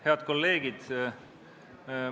Head kolleegid!